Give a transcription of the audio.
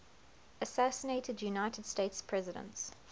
assassinated united states presidents